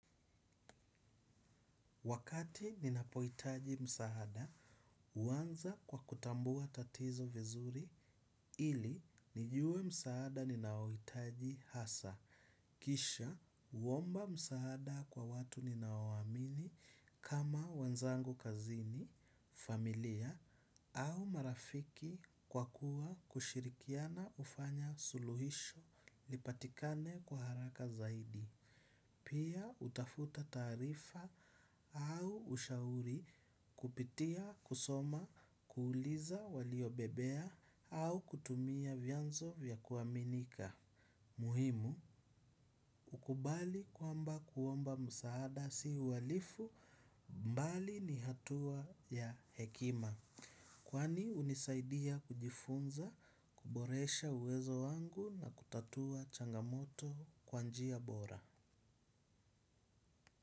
Wakati ninapoitaji msaada, huwanza kwa kutambua tatizo vizuri ili nijue msaada ninaohitaji hasa. Kisha, uomba msaada kwa watu ninao waamini kama wenzangu kazini, familia au marafiki kwa kuwa kushirikiana ufanya suluhisho lipatikane kwa haraka zaidi. Pia utafuta taarifa au ushauri kupitia, kusoma, kuuliza waliobebea au kutumia vyanzo vya kuaminika. Muhimu, kukubali kwamba kuomba msaada si uhalifu mbali ni hatua ya hekima. Kwani unisaidia kujifunza, kuboresha uwezo wangu na kutatua changamoto kwa njia bora.